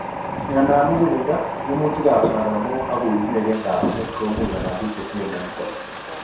Myondab muguleldo, ng'emutik ab saramok ak uinwek en kabuset komuch konam biik chetinye myonitok